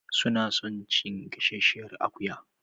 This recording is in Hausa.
Suna son cin gasasshiyar akuya.